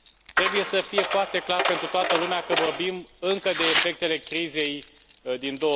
Trebuie să fie foarte clar pentru toată lumea că vorbim încă de efectele crizei din